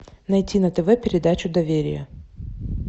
найти на тв передачу доверие